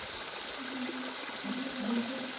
হ্যাঁ চাকরি পাওয়া যাচ্ছেনা।